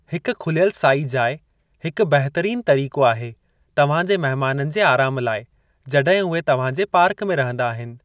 हिक खुलियलु साई जाइ हिकु बहितरीनु तरीक़ो आहे तव्हां जे महिमाननि जे आराम लाइ जॾहिं उहे तव्हां जे पार्क में रहंदा आहिनि।